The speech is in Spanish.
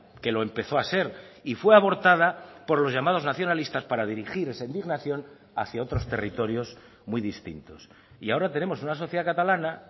que lo empezó a ser y fue abortada por los llamados nacionalistas para dirigir esa indignación hacia otros territorios muy distintos y ahora tenemos una sociedad catalana